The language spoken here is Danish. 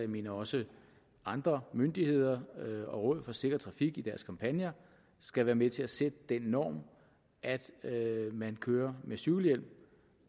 mener også at andre myndigheder og rådet for sikker trafik i deres kampagner skal være med til at sætte den norm at man kører med cykelhjelm